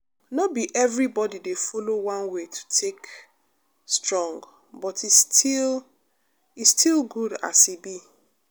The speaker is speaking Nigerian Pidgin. no be everybody dey follow one way to take strong but e still e still good as e be.